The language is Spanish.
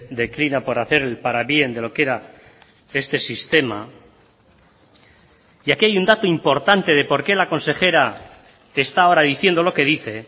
declina por hacer el parabién de lo que era este sistema y aquí hay un dato importante de porqué la consejera está ahora diciendo lo que dice